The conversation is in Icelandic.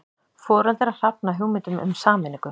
Foreldrar hafna hugmyndum um sameiningu